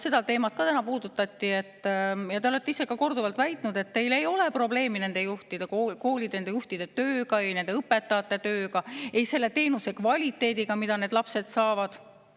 Seda teemat täna puudutati ja te olete ise ka korduvalt väitnud, et teil ei ole probleemi nende koolide juhtide tööga, nende õpetajate tööga ega selle teenuse kvaliteediga, mida need lapsed saavad.